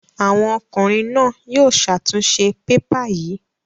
Àwọn ọkùnrin náà yóò ṣàtúnṣe pépà yìí.